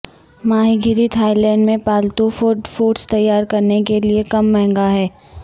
ماہی گیری Thailand میں پالتو فوڈ فوڈز تیار کرنے کے لئے کم مہنگا ہیں